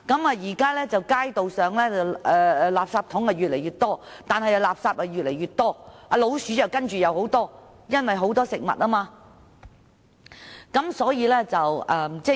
現時街道上的垃圾桶越來越多，但垃圾也越來越多，老鼠更多，主要是因為垃圾中有食物。